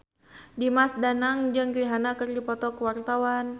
Dimas Danang jeung Rihanna keur dipoto ku wartawan